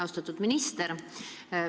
Austatud minister!